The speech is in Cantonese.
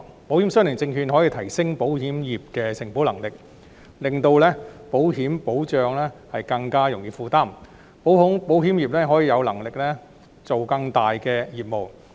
保險相連證券可以提升保險業的承保能力，令保險保障更容易負擔，從而令保險業有能力做更大的業務。